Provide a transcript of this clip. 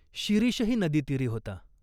शिरीषही नदीतीरी होता.